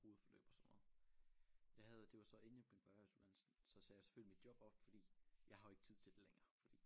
Hovedforløb og sådan noget jeg havde det var så inden jeg begyndte på erhvervsuddannelsen så sagde jeg selvfølgelig mit job op fordi jeg har jo ikke tid til det længere fordi